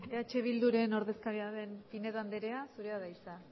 berbotsa mikrofonorik gabe hitz egin dute eh bilduren ordezkaria den pinedo anderea zurea da hitza